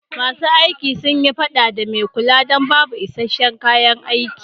Ma su aiki sun yi fada a mai kula don babu iska'shen kayan aiki.